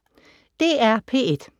DR P1